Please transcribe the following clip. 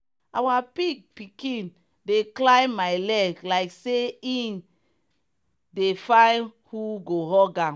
our pig pikin dey climb my leg like say e dey find who go hug am.